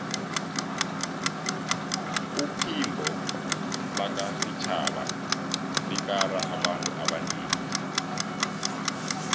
uphimbo lakafitjhaba likara abantu abanengi